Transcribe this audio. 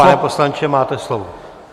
Pane poslanče, máte slovo.